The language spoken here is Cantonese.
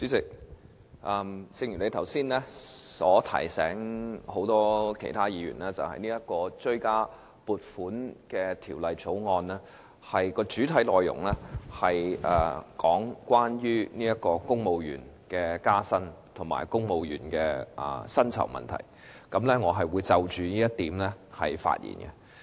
主席，正如你剛才提醒議員，這項《追加撥款條例草案》的主要內容，與公務員加薪及公務員薪酬問題有關，我也會就着這一點發言。